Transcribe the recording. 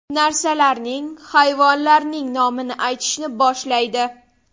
Narsalarning, hayvonlarning nomini aytishni boshlaydi.